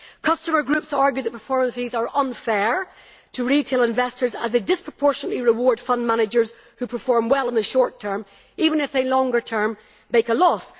Customer groups argue that performance fees are unfair to retail investors as they disproportionately reward fund managers who perform well in the short term, even if in the longer term they make a loss.